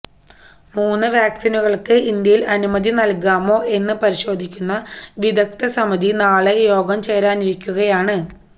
മൂന്ന് വാക്സിനുകൾക്ക് ഇന്ത്യയിൽ അനുമതി നൽകാമോ എന്ന് പരിശോധിക്കുന്ന വിദഗ്ധസമിതി നാളെ യോഗം ചേരാനിരിക്കുകയാണ്